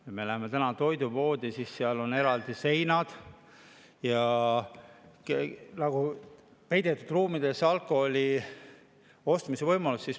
Kui me läheme täna toidupoodi, siis me näeme, et nüüd on seal eraldavad seinad ja mõnes ruumis on alkoholi ostmise koht peidetud.